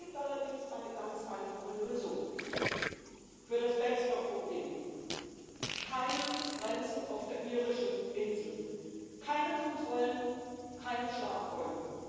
Es gibt allerdings eine ganz einfache Lösung für das Backstop —Problem Keine Grenzen auf der irischen Insel, keine Kontrollen, keine Schlagbäume.